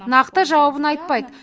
нақты жауабын айтпайды